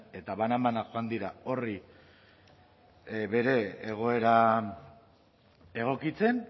eta banan banan dira horri bere egoera egokitzen